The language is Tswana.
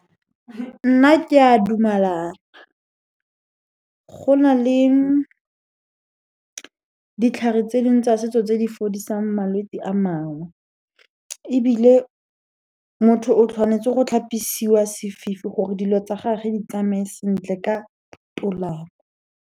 Nna ke a dumalana. Go na le ditlhare tse ding tsa setso tse di fodiseng malwetsi a mangwe, ebile motho o tshwanetse go tlhapisiwa sefifi gore dilo tsa gage di tsamaye sentle ka tolamo.